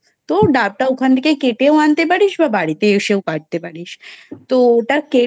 তো ডাবটা ওটা ওখান থেকে কেটেও আনতে পারিস বা বাড়িতে এসেও কাটতে পারিস তো ওটা